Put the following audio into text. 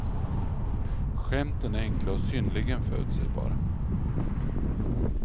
Skämten är enkla och synnerligen förutsägbara.